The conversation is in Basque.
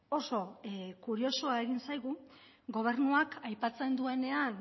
oso kuriosoa egin zaigu gobernuak aipatzen duenean